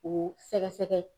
O sɛgɛsɛgɛ.